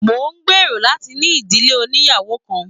Mo n gbéró láti ní ìdílé ònìyàwó kan.